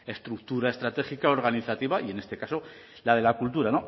estructura estratégica organizativa y en este caso la de la cultura